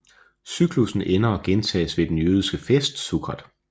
Cyklussen ender og gentages ved den jødiske fest Sukkot